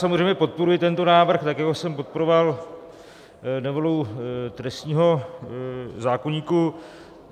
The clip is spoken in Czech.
Samozřejmě podporuji tento návrh, tak jako jsem podporoval novelu trestního zákoníku.